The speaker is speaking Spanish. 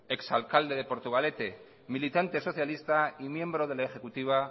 ex alcalde de portugalete militante socialista y miembro de la ejecutiva